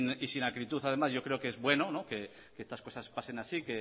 y sin acritud además yo creo que es bueno que estas cosas pasen así